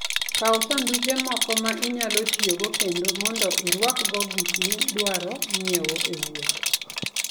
Kaw sanduge moko ma inyalo tiyogo kendo, mondo irwakgo gik midwaro nyiewo e wuoth.